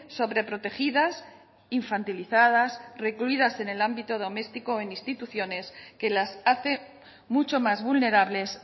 sobreprotegidas infantilizadas recluidas en el ámbito doméstico o en instituciones que las hace mucho más vulnerables